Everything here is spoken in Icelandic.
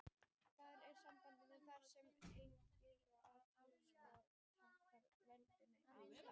Þar í sambandinu þar sem er einnig atviksorð og táknar dvöl á stað.